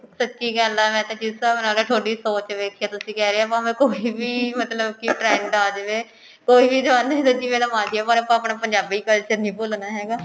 ਸੱਚੀ ਗੱਲ ਹੈ ਮੈਂ ਤਾਂ ਜਿਸ ਹਿਸਾਬ ਨਾਲ ਥੋਡੀ ਸੋਚ ਦੇਖੀ ਹੈ ਤੁਸੀਂ ਕਹਿ ਰਹੇ ਹੋ ਭਾਵੇਂ ਕੋਈ ਵੀ ਮਤਲਬ ਕਿ trend ਆ ਜਵੇ ਕੋਈ ਵੀ ਜਵਾਨੀ ਦਾ ਜਿਵੇਂ ਦਾ ਅਜੀਏ ਪਰ ਆਪਾਂ ਹੁਣ ਪੰਜਾਬੀ culture ਨਹੀਂ ਭੁਲਣਾ ਹੈਗਾ